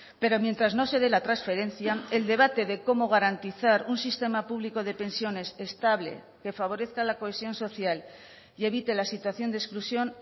pero mientras no se dé la transferencia el debate de cómo garantizar un sistema público de pensiones estable que favorezca la cohesión social y evite la situación de exclusión